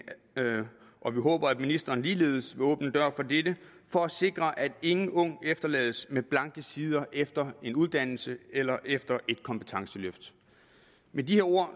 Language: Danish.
og vi håber at ministeren ligeledes vil åbne en dør for dette for at sikre at ingen ung efterlades med blanke sider efter en uddannelse eller efter et kompetenceløft med de her ord